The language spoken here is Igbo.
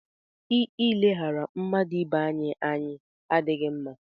I ileghara mmadụ ibe anyị ànyị adịghị mma.